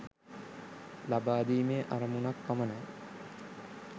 ලබාදීමේ අරමුණක් පමණයි.